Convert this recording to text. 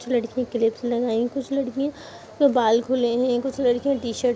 कुछ लड़कियां क्लिपस लगाई कुछ लड़कियां बाल खुले हैं कुछ लड़कियां टी-शर्ट --